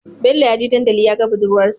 Bello yaje dandali yaga budurwar sa